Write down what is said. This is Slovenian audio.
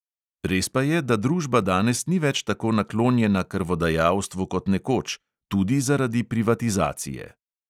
Res pa je, da družba danes ni več tako naklonjena krvodajalstvu kot nekoč, tudi zaradi privatizacije.